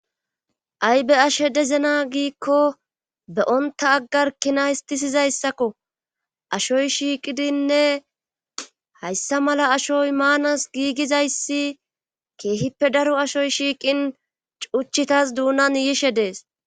Ay be ashe dezena giikko beyonta aggar kina histisizayssakko ashoy shiiqidinne hayssa mala ashoy maanas giigizayssi keehippe daro ashoy shiiqin cuchitas duunan yishe dees